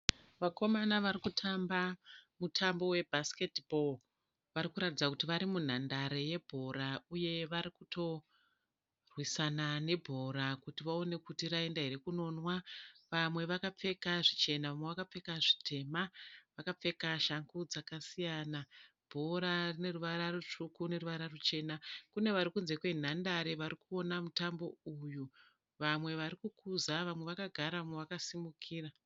Vakomana varikutamba mutambo webhasiketi bhoo. Varikuratidza kuti vari munhandare yebhora uye varikutorwisana nebhora kuti vaone kuti raenda here kunonwa. Vamwewo vakapfeka zvichena, vamwe zvitema. Vakapfeka shangu dzakasiyana. Bhora rineruvara rutsvuku neruvara ruchena. Kune vari kunze kwenhandare varikuona mutambi uyu. Vamwe varikukuza vamwe vakagara vamwe vakasimukira.